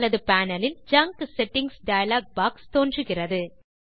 வலது panel லில் junk settings dialog box தோன்றுகிறது